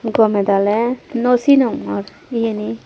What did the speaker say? gome dale naw sinongor iyeni.